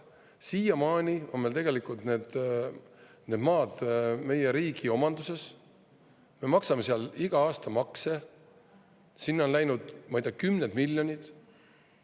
Siiamaani on tegelikult need maad meie riigi omanduses, me maksame seal iga aasta makse, sinna on läinud, ma ei tea, kümned miljonid.